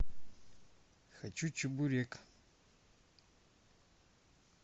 хочу чебурек